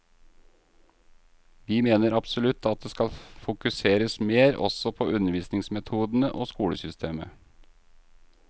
Vi mener absolutt at det skal fokuseres mer også på undervisningsmetodene og skolesystemet.